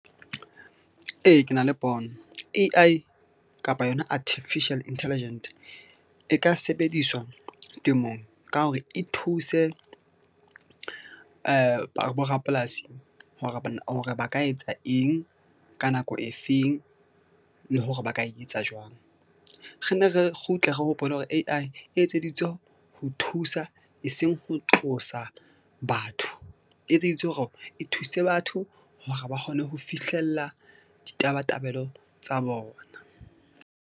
Ee, ke na le pono A_I kapa yona Artificial Intelligent e ka sebediswa temong ka hore e thuse borapolasi hore ba ka etsa eng ka nako e feng le hore ba ka etsa jwang. Re nne re kgutle, re hopole hore A_I e etseditswe ho thusa, eseng ho tlosa batho, e etseditswe hore e thuse batho hore ba kgone ho fihlella ditabatabelo tsa bona.